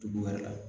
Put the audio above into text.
Dugu wɛrɛ la